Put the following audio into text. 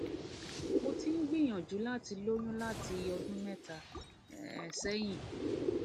mo ti ń gbìyànjú láti lóyún láti ọdún mẹta um sẹyìn